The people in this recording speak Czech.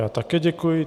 Já také děkuji.